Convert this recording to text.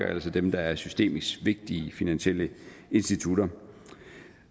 altså dem der er systemisk vigtige finansielle institutter